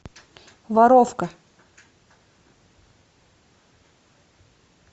воровка